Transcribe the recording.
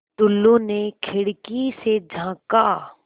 टुल्लु ने खिड़की से झाँका